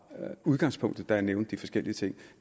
udgangspunktet da jeg nævnte de forskellige ting